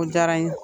O diyara n ye